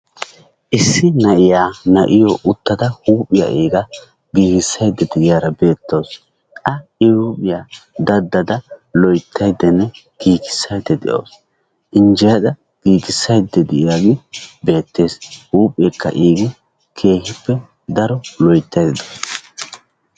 Issi na'iyaa na'iyo uttidata huuphiyaa iiga giigissaydda de'iyaara beettawus. A I huuphiyaa daddada loyttaydanne giigissayda de'iyooge beettes. injjeyada giigissaydda de'iyaage beettawus. keehippe daro loyttaydda dawus.